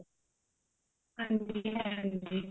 ਹਾਂਜੀ ਹਾਂਜੀ